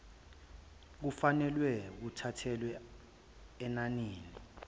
kufanelwe kuthathelwe enanini